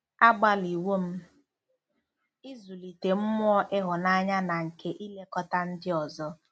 Agbalịwo m ịzụlite mmụọ ịhụnanya na nke ilekọta ndị ọzọ.